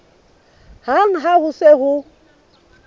hang ha ho se ho